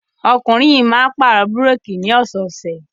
Ọkùnrin yìí máa ń pàrọ̀ búrékì ní ọ̀sẹ̀ẹ̀sẹ̀.